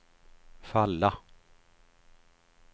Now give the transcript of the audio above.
falla